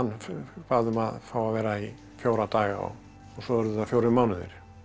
bað um að fá að vera í fjóra daga og svo urðu það fjórir mánuðir